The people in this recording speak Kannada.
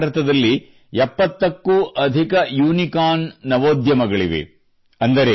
ಇಂದು ಭಾರತದಲ್ಲಿ 70ಕ್ಕೂ ಅಧಿಕ ಯೂನಿಕಾರ್ನ್ ನವೋದ್ಯಮಗಳಿವೆ